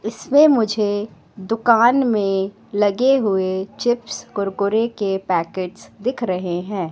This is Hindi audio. इसमें मुझे दुकान में लगे हुए चिप्स कुरकुरे के पैकेट दिख रहे हैं।